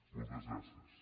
moltes gràcies